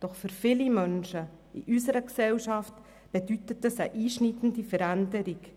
Doch für viele Menschen in unserer Gesellschaft bedeutet das eine einschneidende Veränderung.